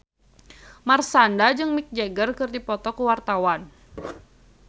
Marshanda jeung Mick Jagger keur dipoto ku wartawan